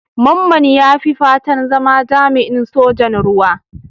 Mamman ya yi fatan zama jami'in Sojan Ruwa.